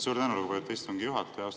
Suur tänu, lugupeetud istungi juhataja!